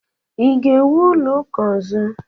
ị ga-ewu ụlọ ụka ọzọ?